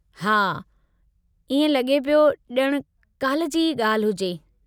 हा, इएं लॻे पियो ॼण काल्हि जी ई ॻाल्हि हुजे।